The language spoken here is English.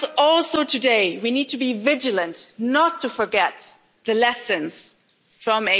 Also today, we need to be vigilant, not to forget the lessons from